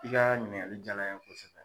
I ka ɲininkali jala ye kosɛbɛ.